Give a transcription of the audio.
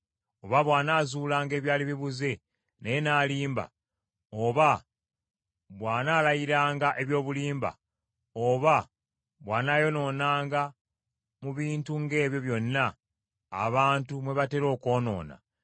oba bw’anaazuulanga ebyali bibuze naye n’alimba; oba bw’anaalayiranga eby’obulimba, oba bw’anaayonoonanga mu bintu ng’ebyo byonna abantu mwe batera okwonoona,